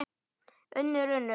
UNNUR: Unnur.